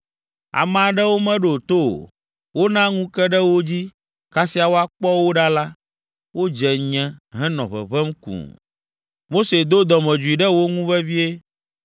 Ame aɖewo meɖo to o: wona ŋu ke ɖe wo dzi. Kasia woakpɔ wo ɖa la, wodze nyẽ henɔ ʋeʋẽm kũu. Mose do dɔmedzoe ɖe wo ŋu vevie,